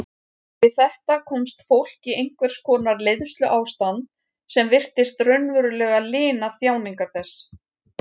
Við þetta komst fólk í einhvers konar leiðsluástand sem virtist raunverulega lina þjáningar þess.